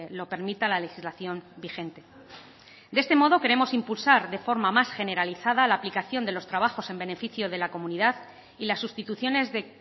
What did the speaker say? lo permita la legislación vigente de este modo queremos impulsar de forma más generalizada la aplicación de los trabajos en beneficio de la comunidad y las sustituciones de